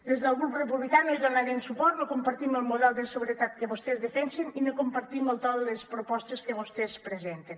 des del grup republicà no hi donarem suport no compartim el model de seguretat que vostès defensen i no compartim el to de les propostes que vostès presenten